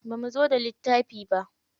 Bamu zo da littafi ba.